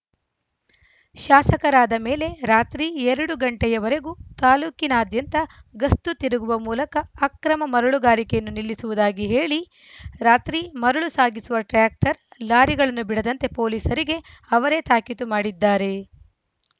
ಶಾಸಕರಾದ ಮೇಲೆ ರಾತ್ರಿ ಎರಡು ಗಂಟೆಯವರೆಗೂ ತಾಲೂಕಿನಾದ್ಯಂತ ಗಸ್ತು ತಿರುಗುವ ಮೂಲಕ ಅಕ್ರಮ ಮರಳು ಗಾರಿಕೆಯನ್ನು ನಿಲ್ಲಿಸುವುದಾಗಿ ಹೇಳಿ ರಾತ್ರಿ ಮರಳು ಸಾಗಿಸುವ ಟ್ರ್ಯಾಕ್ಟರ್‌ ಲಾರಿಗಳನ್ನು ಬಿಡದಂತೆ ಪೊಲೀಸರಿಗೆ ಅವರೇ ತಾಕೀತು ಮಾಡಿದ್ದಾರೆ